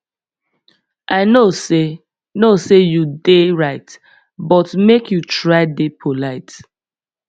i know sey know sey you dey right but make you try dey polite